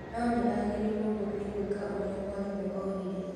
No nĩ aagĩrĩirũo nĩ gwĩka ũrĩa mwarimũ oigire.